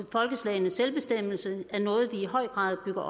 folkeslagenes selvbestemmelse er noget vi i høj grad bygger